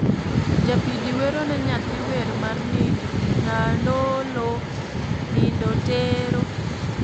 Japidi wero ne nyathi wer mar nindo "nyandolo nindo tere"